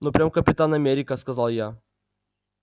ну прям капитан америка сказал я